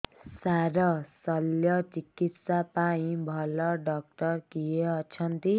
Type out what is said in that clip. ସାର ଶଲ୍ୟଚିକିତ୍ସା ପାଇଁ ଭଲ ଡକ୍ଟର କିଏ ଅଛନ୍ତି